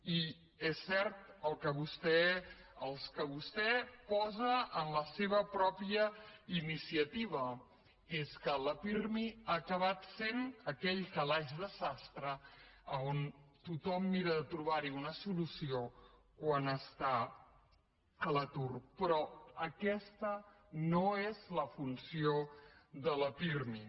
i és cert el que vostè posa en la seva mateixa iniciativa que és que la pirmi ha acabat sent aquell calaix de sastre on tothom mira de trobar hi una solució quan està a l’atur però aquesta no és la funció de la pirmi